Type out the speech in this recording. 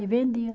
E vendia.